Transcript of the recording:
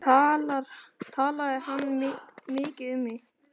Talaði hann mikið um mig?